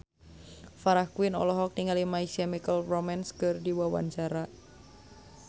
Farah Quinn olohok ningali My Chemical Romance keur diwawancara